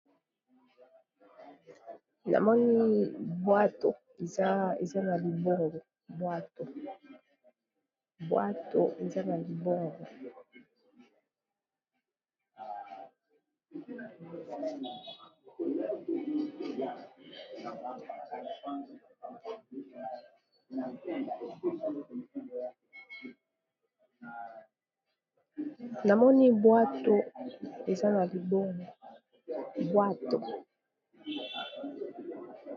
Namoni bwato eza na libongo, bwato eza na libongo.